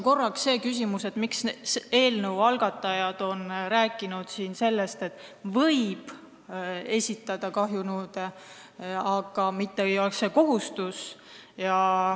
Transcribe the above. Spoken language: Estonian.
Korraks tekkis küsimus, miks eelnõu algatajad on rääkinud sellest, et võib esitada kahjunõude, mitte ei ole sellist kohustust.